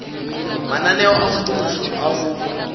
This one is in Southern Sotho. mananeo a mmuso a ho